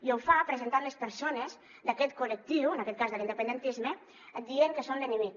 i ho fa presentant les persones d’aquest col·lectiu en aquest cas de l’independentisme dient que són l’enemic